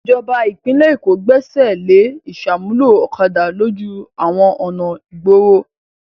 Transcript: Ìjọba ìpínlẹ̀ Èkó Gbẹ́sẹ̀ lé ìṣàmúlò ọ̀kadà lójú àwọn ọ̀nà ìgboro.